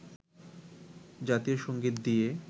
জাতীয় সংগীত নিয়ে